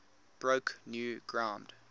broke new ground